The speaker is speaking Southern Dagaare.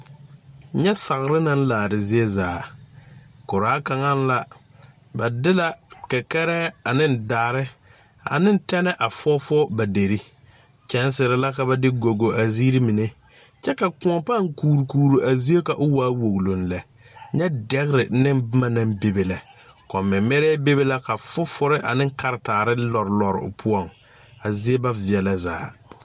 Nyɛ sagre naŋ laare zie zaa koraa kaŋa la ba de la kɛkɛrɛɛ aneŋ daare a e tɛne a fɔɔfɔɔ a derre kyɛnserre la ka ba de go go a zeere mine kyɛ ka kõɔ pãã kuurkuure a zie ka o waa woge lɛ nyɛ dɛgre neŋ bomma naŋ bebe lɛ kom mɛmɛrɛɛ bebe la ka fufure aneŋ karetaare lɔreoo poɔŋ a zie ba veɛlɛ zaa.